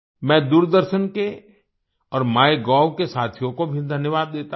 मैं दूरदर्शन के और माइगोव के साथियों को भी धन्यवाद देता हूँ